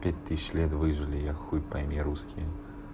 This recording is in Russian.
пять тысяч лет выжили я хуй пойми русские